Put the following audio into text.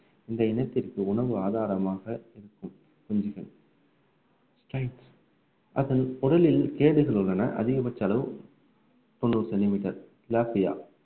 இந்த இனத்திற்கு உணவு ஆதாரமாக இருக்கும் அதன் உடலில் கேடுகள் உள்ளன அதிகபட்ச அளவு தொண்ணூறு centimetre